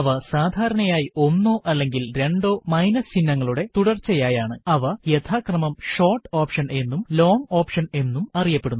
അവ സാധാരണയായി ഒന്നോ അല്ലെങ്കിൽ രണ്ടോ മൈനസ് ചിഹ്നങ്ങളുടെ തുടർച്ചയായാണ് അവ യഥാക്രമം ഷോർട്ട് ഓപ്ഷൻ എന്നും ലോങ്ങ് ഓപ്ഷൻ എന്നും അറിയപ്പെടുന്നു